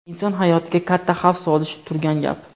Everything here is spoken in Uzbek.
inson hayotiga katta xavf solishi turgan gap.